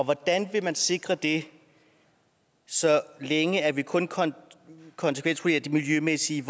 hvordan vil man sikre det så længe vi kun kun konsekvensvurderer det miljømæssige